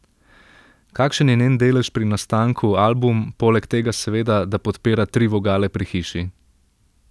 Kakšen je njen delež pri nastanku album, poleg tega seveda, da podpira tri vogale pri hiši?